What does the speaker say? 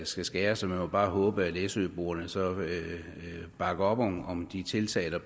skal skæres vi må bare håbe at læsøboerne så bakker op om om de tiltag der